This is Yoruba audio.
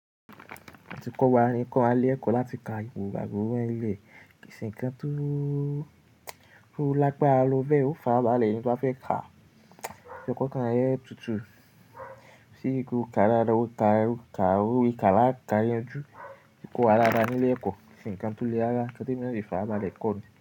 Atiko wa ni ki lẹ̀kọ́ láti ka ipò gbàgùn orílẹ̀ kìn-ín-nǹkan tó lágbára lọ bẹ́ẹ̀ ó fara balẹ̀ ẹni tó fẹ́ ka. Okankan re tutù ṣí i gúká ara rẹ̀, ó ka rí ká láká yanjú kọ̀ daada ni nílé ẹ̀kọ́. Ǹǹkan tó le rárá nkan tí èmi náà lè fara balẹ̀ kọ́ ni.